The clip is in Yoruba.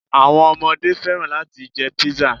Àwọn omodé fẹ́ràn láti jẹ Pizza